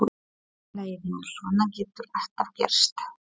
Allt í lagi, vinur, svona getur alltaf gerst.